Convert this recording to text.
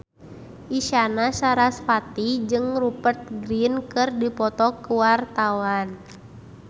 Isyana Sarasvati jeung Rupert Grin keur dipoto ku wartawan